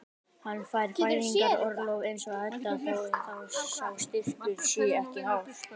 Hann fær fæðingarorlof eins og Edda þó að sá styrkur sé ekki hár.